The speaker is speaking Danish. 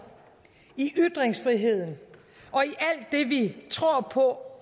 i ytringsfriheden og i vi tror på